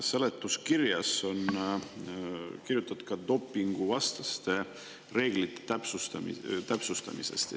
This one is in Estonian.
Seletuskirjas on kirjutatud ka dopinguvastaste reeglite täpsustamisest.